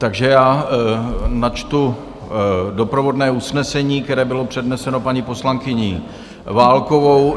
Takže já načtu doprovodné usnesení, které bylo předneseno paní poslankyní Válkovou.